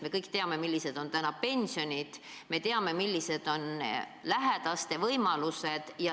Me kõik teame, millised on täna pensionid, me teame, millised on lähedaste võimalused.